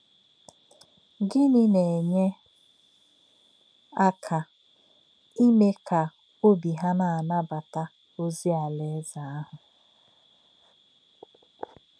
Gịnị na-enye aka íme ka òbí ha na-anabata ozi Alaeze ahụ?